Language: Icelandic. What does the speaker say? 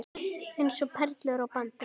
Eins og perlur á bandi.